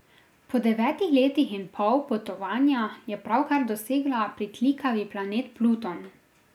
Po devet letih in pol potovanja je pravkar dosegla pritlikavi planet Pluton.